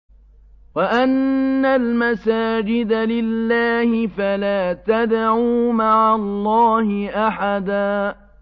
وَأَنَّ الْمَسَاجِدَ لِلَّهِ فَلَا تَدْعُوا مَعَ اللَّهِ أَحَدًا